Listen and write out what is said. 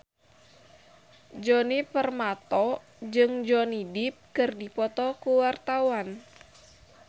Djoni Permato jeung Johnny Depp keur dipoto ku wartawan